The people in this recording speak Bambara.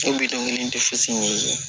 Ne bi dɔnkili tɛ fosi ɲini